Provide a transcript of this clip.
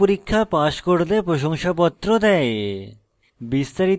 online পরীক্ষা pass করলে প্রশংসাপত্র দেয়